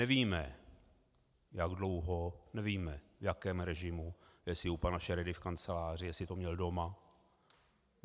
Nevíme jak dlouho, nevíme v jakém režimu, jestli u pana Šeredy v kanceláři, jestli to měl doma.